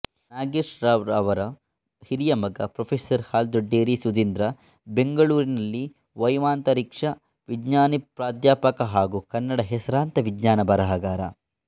ನಾಗೇಶರಾವ್ ಅವರ ಹಿರಿಯ ಮಗ ಪ್ರೊಫೆಸರ್ ಹಾಲ್ದೊಡ್ಡೇರಿ ಸುಧೀಂದ್ರ ಬೆಂಗಳೂರಿನಲ್ಲಿ ವೈಮಾಂತರಿಕ್ಷ ವಿಜ್ಞಾನಿಪ್ರಾಧ್ಯಾಪಕ ಹಾಗೂ ಕನ್ನಡದ ಹೆಸರಾಂತ ವಿಜ್ಞಾನ ಬರಹಗಾರ